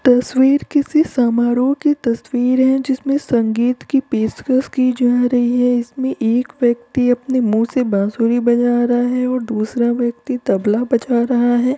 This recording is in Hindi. तसवीर किसी समारोह की तस्वीर है जिसमें संगीत की पेशकस की जा रही है इसमें एक व्यक्ति अपने मुंह से बासुरी बजा रहा है और दूसरा व्यक्ति तबला बजा रहा है।